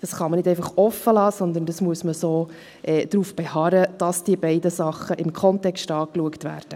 Das kann man nicht einfach offen lassen, sondern man muss darauf beharren, dass die beiden Sachen im Kontext angeschaut werden.